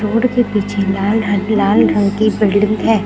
Road के पीछे लाल हरे लाल रंग की बिल्डिंग है।